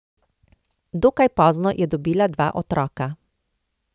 Dokaj pozno je dobila dva otroka.